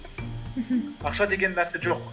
мхм ақша деген нәрсе жоқ